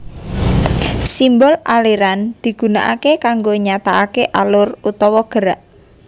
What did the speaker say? Simbol aliran digunakaké kanggo nyatakaké alur utawa gerak